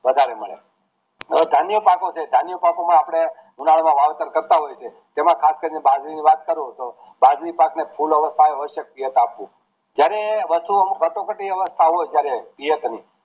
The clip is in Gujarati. વધારે મળે ધાન્ય પાકો છે ધાન્ય પાકો માં આપડે ઉનાળા માંહીએ વાવેતર કરતા હોઈએ છીએ જેમાં ખાસ કરી ને બાજરી ની વાત કરું તો બાજરી પાક ને ફૂલ ઉણાલો જયારે વસ્તુ અમુક કટોકટી ની વ્યવસ્થા હોય ત્યારે કરાવી